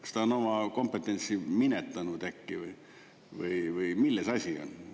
Kas ta on oma kompetentsi minetanud äkki või milles asi on?